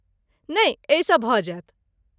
नहि, एहिसँ भऽ जायत।